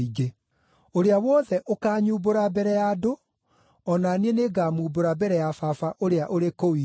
“Ũrĩa wothe ũkaanyumbũra mbere ya andũ, o na niĩ nĩngamumbũra mbere ya Baba ũrĩa ũrĩ kũu igũrũ.